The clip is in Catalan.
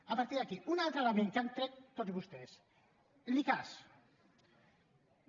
a partir d’aquí un altre element que han tret tots vostès l’icass